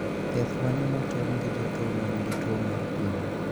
Thiedh mane motem gi jotuo manigi tuo mar pien?